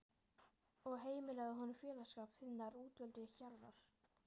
og heimilaðu honum félagsskap þinnar útvöldu hjarðar.